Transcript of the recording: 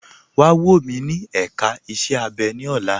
Wà wọ̀ mí ní èká ìṣẹ̀ abẹ̀ ni ọ̀lá.